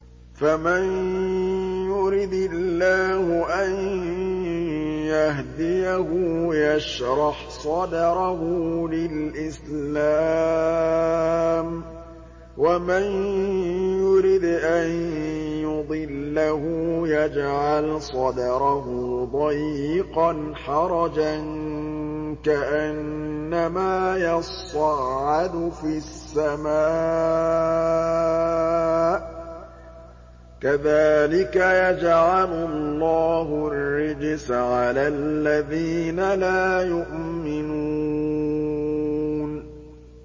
فَمَن يُرِدِ اللَّهُ أَن يَهْدِيَهُ يَشْرَحْ صَدْرَهُ لِلْإِسْلَامِ ۖ وَمَن يُرِدْ أَن يُضِلَّهُ يَجْعَلْ صَدْرَهُ ضَيِّقًا حَرَجًا كَأَنَّمَا يَصَّعَّدُ فِي السَّمَاءِ ۚ كَذَٰلِكَ يَجْعَلُ اللَّهُ الرِّجْسَ عَلَى الَّذِينَ لَا يُؤْمِنُونَ